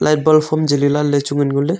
light bulb hom jeli lahley chu ngan ngoley.